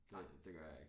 Det det gør jeg ikke